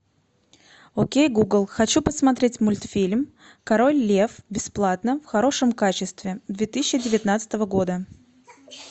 окей гугл хочу посмотреть мультфильм король лев бесплатно в хорошем качестве две тысячи девятнадцатого года